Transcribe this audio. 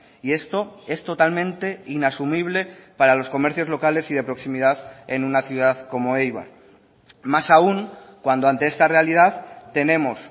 y esto es totalmente inasumible para los comercios locales y de proximidad en una ciudad como eibar más aun cuando ante esta realidad tenemos